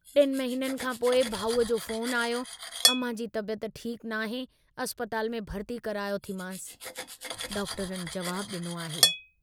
टिनि महिननि खां पोइ भाऊअ जो फ़ोन आयो, अमां जी तबियत ठीकु नाहे अस्पताल में भर्ती करायो थी मांस, डॉक्टरनि जवाबु डिनो आहे।